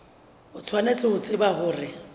o tshwanetse ho tseba hore